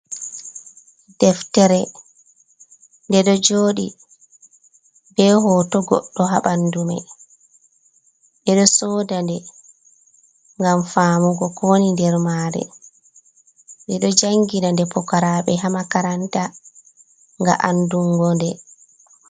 Deftere nde ɗo jooɗi bee hooto goɗɗo haa ɓanndu mai. Ɓe ɗo sooda nde ngam faamugo ko woni nder maare, ɓe ɗo janngina nde fukaraaɓe haa makaranta ngam anndungo nde.